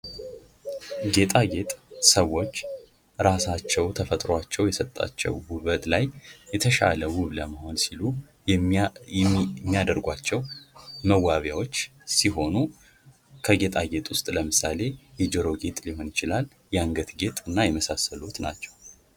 ሰዎች ተፈጥሯቸው የሰጣቸው ውበት ላይ የተሻለ ለመሆን ሲሉ የሚያደርጓቸው መዋቢያዎች ሲሆኑ ከጌጣጌጥ ውስጥ ለምሳሌ የጆሮ ሊሆን ይችላል የአንገት እና የመሳሰሉት ናቸው